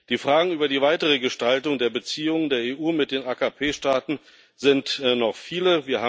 Der Fragen über die weitere Gestaltung der Beziehungen der EU zu den AKP Staaten sind noch viele.